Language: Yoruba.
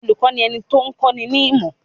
Olùkọ́ ni ẹni tó ń kọ́ ni ní ìmọ̀.